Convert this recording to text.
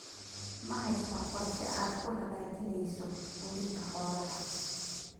Ma haysaa qorshe aad ku hagaajinayso quudinta xoolaha?